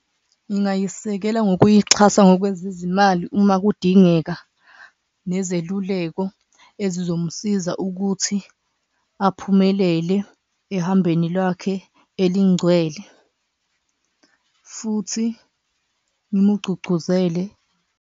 Ngingayisekela ngokuyixhasa ngokwezizimali uma kudingeka nezeluleko ezizomsiza ukuthi aphumelele ehambweni lwakhe elingcwele, futhi ngimugcugcuzele.